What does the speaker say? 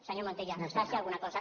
senyor montilla faci alguna cosa